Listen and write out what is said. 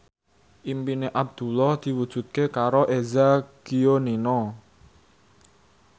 impine Abdullah diwujudke karo Eza Gionino